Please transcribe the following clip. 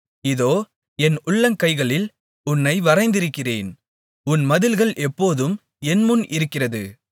இதோ என் உள்ளங்கைகளில் உன்னை வரைந்திருக்கிறேன் உன் மதில்கள் எப்போதும் என்முன் இருக்கிறது